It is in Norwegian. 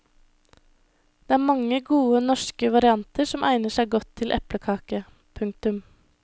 Det er mange gode norske varianter som egner seg godt til eplekake. punktum